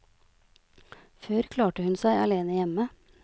Før klarte hun seg alene hjemme.